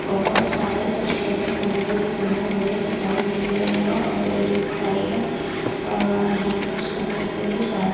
बहोत सारे छोटे छोटे गमले भी बने हुए दिखाई दे रहे है और एक साइड अह हैंड वॉश करने के लिए सा--